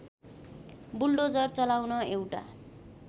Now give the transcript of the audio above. bulldozer चलाउन एउटा